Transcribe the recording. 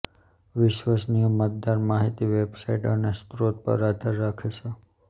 વિશ્વસનીય મતદાર માહિતી વેબસાઇટ્સ અને સ્ત્રોતો પર આધાર રાખે છે